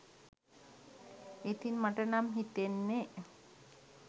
ඉතින් මට නම් හිතෙන්න්නේ